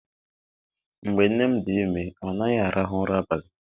Mgbe nne m dị ime, ọ naghị arahụ ụra abalị.